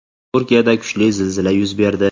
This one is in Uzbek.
Turkiyada kuchli zilzila yuz berdi.